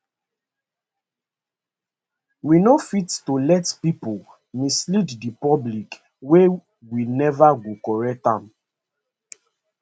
we no fit to let pipo mislead di public wia we neva go correct am